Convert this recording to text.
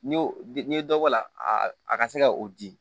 N'i y'o n'i ye dɔ bɔ a la a ka se ka o di